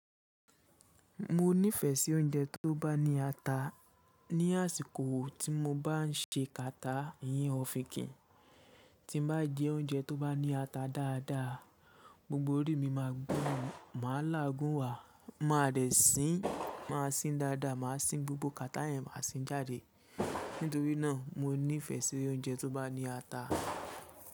Mo nífẹ̀ẹ́ sí oúnjẹ tó bá ní ata ní àsìkò tí mo bá ń ṣe kàtá ẹyen ọ̀fìnkìn. Ti mo bá jẹ oúnjẹ tó bá ní ata dáadáa, gbogbo orí mi máa gbono, màá lágùnwà, màá de sín, màá sín dáadáa, màá sín gbogbo kàtá yẹn, màá sín jáde. Nítorí náà mo nífẹ̀ẹ́ sí oúnjẹ tó bá ní ata.